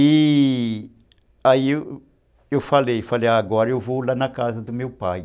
E... Aí eu falei, falei, agora eu vou lá na casa do meu pai.